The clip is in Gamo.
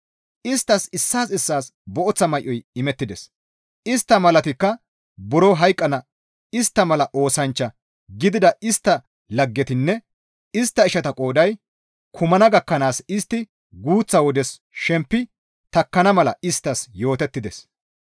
Isttas issaas issaas booththa may7oy imettides; istta malatikka buro hayqqana; istta mala oosanchcha gidida istta laggetinne istta ishata qooday kumana gakkanaas istti guuththa wodes shempi takkana mala isttas yootettides.